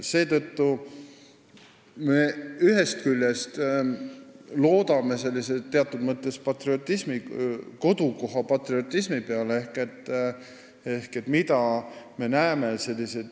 Seetõttu me loodame ühest küljest sellise kodukoha patriotismi peale, sest mida me näeme?